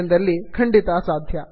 ಎಂದಲ್ಲಿ ಖಂಡಿತ ಸಾಧ್ಯ